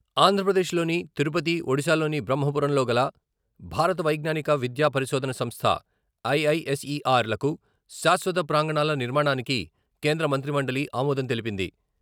ఆంధ్రప్రదేశ్‌లోని తిరుపతి, ఒడిశాలోని బ్రహ్మపురంలోగల "భారత వైజ్ఞానిక, విద్య పరిశోధన సంస్థ" ఐఐఎస్ఈఆర్‌లకు శాశ్వత ప్రాంగణాల నిర్మాణానికి కేంద్ర మంత్రి మండలి ఆమోదం తెలిపింది.